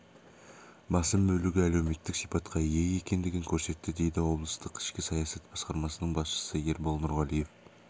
басым бөлігі әлеуметтік сипатқа ие екендігін көрсетті дейді облыстық ішкі саясат басқармасының басшысы ербол нұрғалиев